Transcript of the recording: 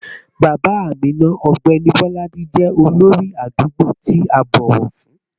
Bàbá Amina, ọ̀gbẹ́ni Bolaji, jẹ́ olórí àdúgbò tí a bọ̀wọ̀ fún